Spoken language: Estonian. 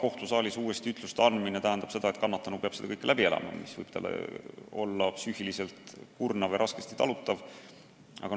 kohtusaalis uuesti ütluste andmine tähendab seda, et kannatanu peab seda kõike jälle läbi elama, mis võib psüühiliselt kurnav ja raskesti talutav olla.